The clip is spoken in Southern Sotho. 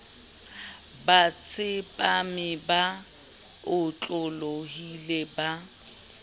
ba tsepame ba otlolohile ba